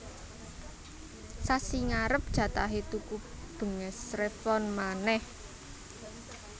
Sasi ngarep jatahe tuku benges Revlon maneh